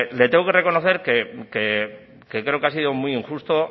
le tengo que reconocer que creo que ha sido muy injusto